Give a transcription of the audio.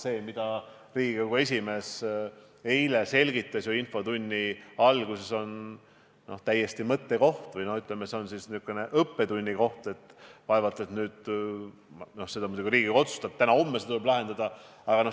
See, mida Riigikogu esimees eile infotunni alguses selgitas, on täiesti mõttekoht või, ütleme, selline õppetunni koht, kuid vaevalt et Riigikogu seda teemat täna-homme lahendama hakkab.